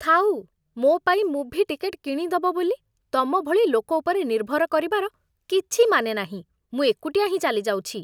ଥାଉ! ମୋ' ପାଇଁ ମୁଭି ଟିକେଟ୍ କିଣିଦବ ବୋଲି ତମ ଭଳି ଲୋକ ଉପରେ ନିର୍ଭର କରିବାର କିଛି ମାନେ ନାହିଁ, ମୁଁ ଏକୁଟିଆ ହିଁ ଚାଲିଯାଉଛି ।